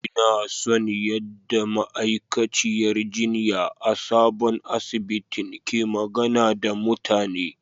Ina son yadda ma'aikaciyar jinya a sabon asibitin ke magana da mutane.